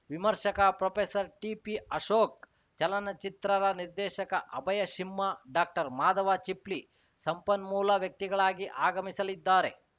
ವಿಮರ್ಷಕ professor TP Ashok ಚಲನಚಿತ್ರರ ನಿರ್ದೇಶಕ ಅಭಯ ಸಿಂಹ ಡಾಕ್ಟರ್ಮಾಧವ ಚಿಪ್ಲಿ ಸಂಪನ್ಮೂಲ ವ್ಯಕ್ತಿಗಳಾಗಿ ಆಗಮಿಸಲಿದ್ದಾರೆ